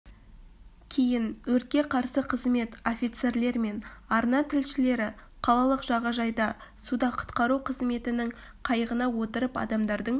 кейін өртке қарсы қызмет офицерлер мен арна тілшілері қалалық жағажайда суда құтқару қызметінің қайығына отырып адамдардың